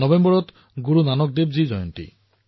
নৱেম্বৰত গুৰু নানক দেৱজীৰ জন্ম জয়ন্তীও